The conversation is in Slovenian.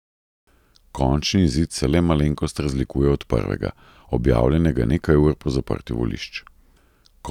Končni izid se le malenkost razlikuje od prvega, objavljenega nekaj ur po zaprtju volišč.